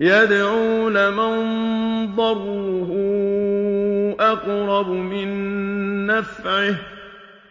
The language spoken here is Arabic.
يَدْعُو لَمَن ضَرُّهُ أَقْرَبُ مِن نَّفْعِهِ ۚ